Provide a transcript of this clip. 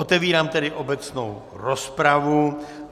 Otevírám tedy obecnou rozpravu.